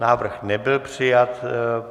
Návrh nebyl přijat.